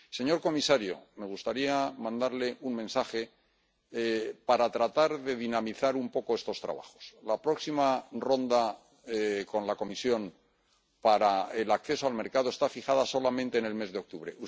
Señor comisario, me gustaría mandarle un mensaje para tratar de dinamizar un poco estos trabajos la próxima ronda con la Comisión para el acceso al mercado está fijada en el mes de octubre